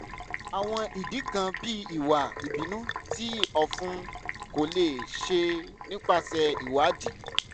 awọn idi kan bii iwa ibinu ti ọfun ko le ṣe nipasẹ iwadii